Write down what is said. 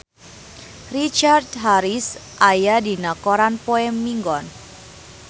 Richard Harris aya dina koran poe Minggon